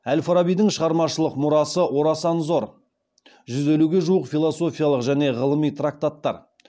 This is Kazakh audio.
әл фарабидің шығармашылық мұрасы орасан зор